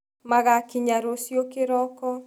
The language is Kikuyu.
Magakĩnya rũciũ kĩroko.